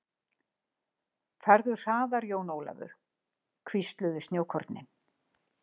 Farðu hraðar Jón Ólafur, hvísluðu snjókornin.